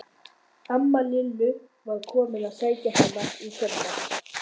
Amma Lillu var komin til að sækja hana í kvöldmat.